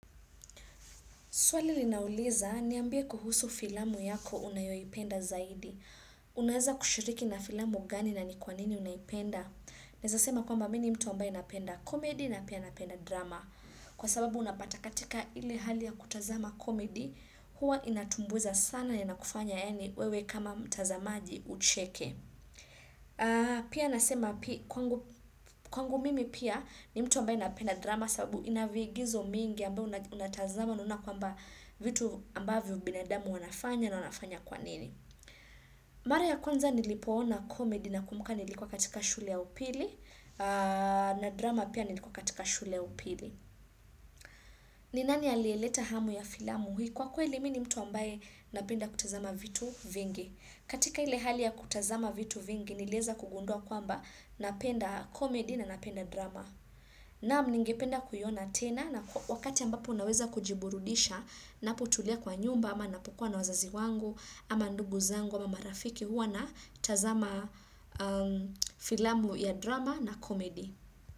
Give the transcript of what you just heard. Swali linauliza, niambie kuhusu filamu yako unayoipenda zaidi. Unaeza kushiriki na filamu gani na ni kwa nini unaipenda? Naeza sema kwamba mi ni mtu ambaye napenda komedi na pia napenda drama. Kwa sababu unapata katika ile hali ya kutazama komedi, huwa inatumbuiza sana inakufanya yaani wewe kama mtazamaji ucheke. Pia nasema kwangu mimi pia ni mtu ambaye napenda drama sababu ina viigizo mingi ambayo unatazama unaona kwamba vitu ambavyo binadamu wanafanya na wanafanya kwa nini Mara ya kwanza nilipoona comedy na kumbuka nilikuwa katika shule ya upili na drama pia nilikuwa katika shule ya upili ni nani aliyeleta hamu ya filamu hii kwa kweli mi ni mtu ambaye napenda kutazama vitu vingi katika ile hali ya kutazama vitu vingi nilieza kugundua kwamba napenda komedi na napenda drama. Naam ningependa kuiona tena na wakati ambapo naweza kujiburudisha napotulia kwa nyumba ama napokua na wazazi wangu ama ndugu zangu ama marafiki hua natazama filamu ya drama na komedi.